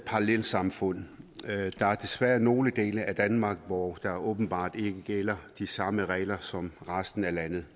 parallelsamfund der er desværre nogle dele af danmark hvor der åbenbart ikke gælder de samme regler som i resten af landet